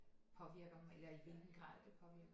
Påvirker dem eller i hvilken grad det påvirker